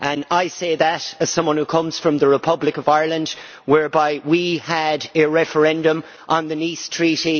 I say that as someone who comes from the Republic of Ireland, where we had a referendum on the Nice Treaty.